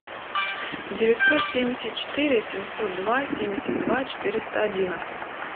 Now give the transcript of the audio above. девятьсот семьдесят четыре семьсот два семьдесят два четыреста одиннадцать